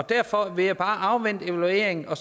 derfor vil jeg bare afvente evalueringen og